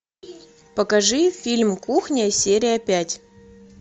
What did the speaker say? покажи фильм кухня серия пять